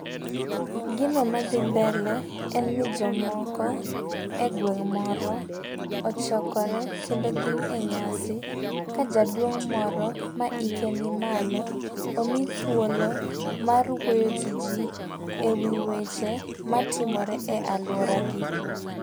Gino madhi mbele en ni jomoko e gweng' moro ochokore kendo gin e nyasi ka jaduong' moro ma hike ni malo omi thuolo mar wuoyo gi jii ewi weche matimore e aluoragi.